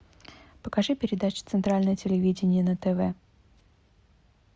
покажи передачу центральное телевидение на тв